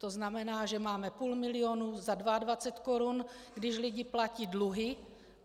To znamená, že máme půl milionu za 22 korun, když lidi platí dluhy.